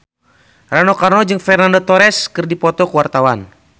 Rano Karno jeung Fernando Torres keur dipoto ku wartawan